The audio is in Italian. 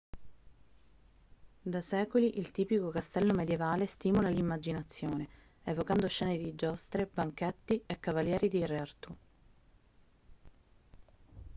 da secoli il tipico castello medievale stimola l'immaginazione evocando scene di giostre banchetti e cavalieri di re artù